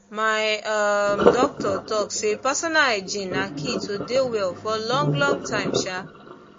my um doctor talk say personal hygiene na key to dey well for long long time um